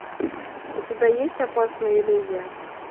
у тебя есть опасная иллюзия